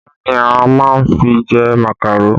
Kí ni a máa fi jẹ màkàró?